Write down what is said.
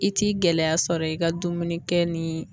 I t'i gɛlɛya sɔrɔ i ka dumuni kɛ ni